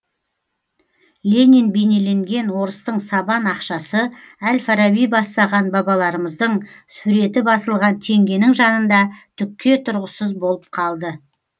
ленин бейнеленген орыстың сабан ақшасы әл фараби бастаған бабаларымыздың суреті басылған теңгенің жанында түкке тұрғысыз болып қалды